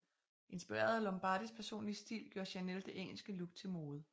Inspireret af Lombardis personlige stil gjorde Chanel det engelske look til mode